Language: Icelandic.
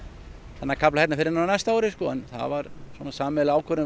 þennan kafla hérna fyrr en á næsta ári sko en það var sameiginleg ákvörðun